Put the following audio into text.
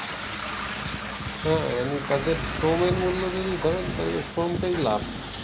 হ্যা মানে তাদের শ্রমের মূল্য যদি ধরেন শ্রমটাই লাভ